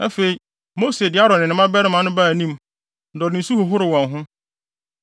Afei, Mose de Aaron ne ne mmabarima no baa anim, na ɔde nsu hohoroo wɔn ho.